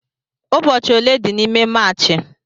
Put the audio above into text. Ụbọchị ole dị n'ime Maachị?